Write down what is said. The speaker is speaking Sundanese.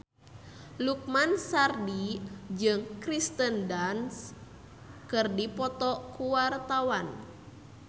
Lukman Sardi jeung Kirsten Dunst keur dipoto ku wartawan